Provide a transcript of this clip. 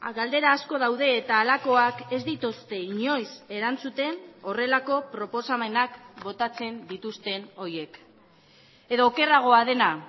galdera asko daude eta halakoak ez dituzte inoiz erantzuten horrelako proposamenak botatzen dituzten horiek edo okerragoa dena